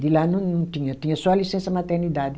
De lá não não tinha, tinha só a licença-maternidade.